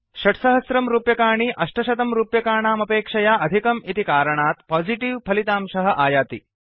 6000 रूप्यकाणि 800 रूप्यकाणामपेक्षया अधिकम् इति कारणात् पोजिटिव् फलितांशः आयाति